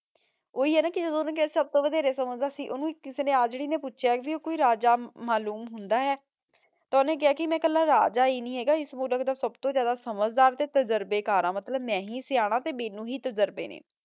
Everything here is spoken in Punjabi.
ਓਹੀ ਆਯ ਨਾ ਕੇ ਜਦੋਂ ਓਨੇ ਕੇਹਾ ਸਬ ਤੋਂ ਵਡੇਰੇ ਸਮਝਦਾ ਸੀ ਓਨੁ ਕਿਸੇ ਆਜ੍ਰੀ ਨੇ ਪੋਚ੍ਯਾ ਕੇ ਊ ਕੋਈ ਰਾਜਾ ਮਾਲੂਓਮ ਹੁੰਦਾ ਹੈ ਤਾਂ ਓਹਨੇ ਕਹਯ ਕੇ ਮੈਂ ਕਲਾ ਰਾਜਾ ਈ ਨਹੀ ਹੇਗਾ ਏਸ ਮੁਲਕ ਦਾ ਸਬ ਤੋਂ ਜਿਆਦਾ ਸਮਝਦਾਰ ਤੇ ਤਜਰਬੇ ਕਰ ਹਾਂ ਮਤਲਬ ਮੈਂ ਹੀ ਸਿਯਾਨਾ ਤੇ ਮੇਨੂ ਹੀ ਤਜਰਬੇ ਨੇ